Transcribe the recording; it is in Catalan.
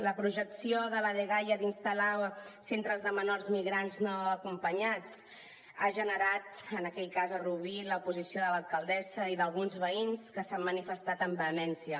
la projecció de la dgaia d’instal·lar centres de menors migrants no acompanyats ha generat en aquell cas a rubí l’oposició de l’alcaldessa i d’alguns veïns que s’han manifestat amb vehemència